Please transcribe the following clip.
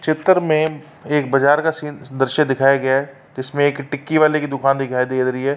चित्र में एक बजार का सीन दृश्य दिखाया गया है जिसमे एक टिक्की वाले की दुकान दिखाई दे ररी है।